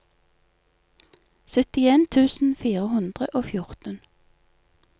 syttien tusen fire hundre og fjorten